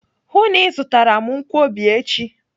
Hụụ na Ị zụtara m nkwobi echi!